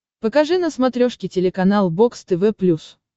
покажи на смотрешке телеканал бокс тв плюс